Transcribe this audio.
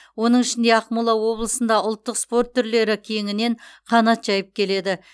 оның ішінде ақмола облысында ұлттық спорт түрлері кеңінен қанат жайып келеді